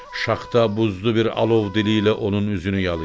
Şaxta buzlu bir alov dili ilə onun üzünü yalayırdı.